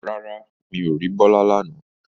Rárá, mi ò rí Bọ́lá lánàá